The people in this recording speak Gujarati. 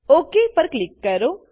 ઓક પર ક્લિક કરો